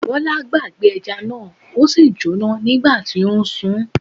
Bọlá gbàgbé ẹja náà,ó sì jó nígbà tí ó ń sùn.